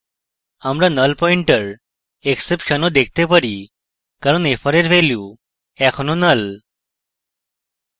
আমরা nullpointerexception ও দেখতে পারি কারণ fr we value এখনও নাল